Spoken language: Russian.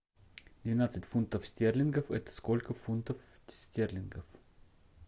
двенадцать фунтов стерлингов это сколько фунтов стерлингов